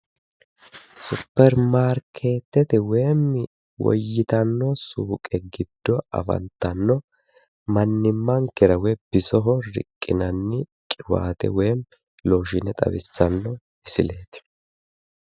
supermarkeetete woyim woyitanno suuqe giddo afantanno mannimankera bisoho riqqinanni qiwaate woyiimmi looshiine xawissanno misileeti.